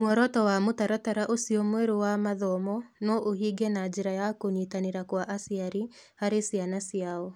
Muoroto wa mũtaratara ũcio mwerũ wa mathomo no ũhinge na njĩra ya kũnyitanĩra kwa aciari harĩ ciana ciao.